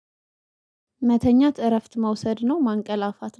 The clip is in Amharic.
መተኛት እረፍት መውሰድ ነው ማንቀላፋት